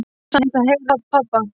Mig langar samt að heyra rödd pabba.